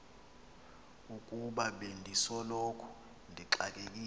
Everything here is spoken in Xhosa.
ukuba bendisoloko ndixakekile